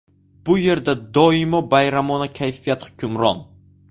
Bu yerda doimo bayramona kayfiyat hukmron .